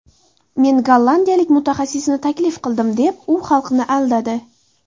Men gollandiyalik mutaxassisni taklif qildim deb, u xalqni aldadi.